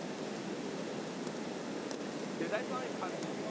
সেটাই তো আমি ভাবছি